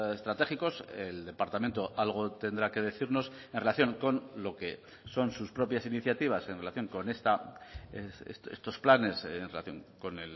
estratégicos el departamento algo tendrá que decirnos en relación con lo que son sus propias iniciativas en relación con estos planes en relación con